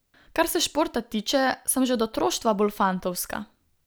Kar se športa tiče, sem že od otroštva bolj fantovska.